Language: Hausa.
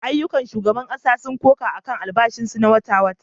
Ma’aikatan jaridar sun koka kan albashinsu na wata-wata